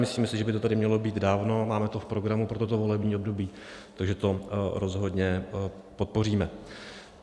Myslíme si, že by to tady mělo být dávno, máme to v programu pro toto volební období, takže to rozhodně podpoříme.